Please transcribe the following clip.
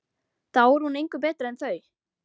Þá er hún engu betri en þau.